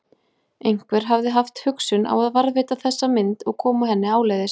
Einhver hafði haft hugsun á að varðveita þessa mynd og koma henni áleiðis.